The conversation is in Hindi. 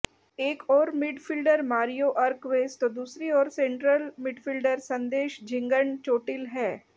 एक ओर मिडफील्डर मारियो अरक्वेस तो दूसरी ओर सेंट्रल मिडफील्डर संदेश झिंगन चोटिल हैं